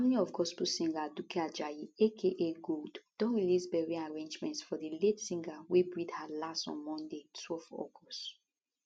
family of gospel singer aduke ajayi aka gold don release burial arrangements for di late singer wey breathe her last on monday twelve august